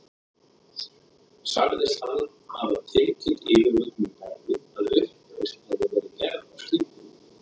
Sagðist hann hafa tilkynnt yfirvöldum í Berlín, að uppreisn hefði verið gerð á skipinu.